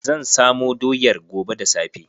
Zan samo doyar gobe da safe.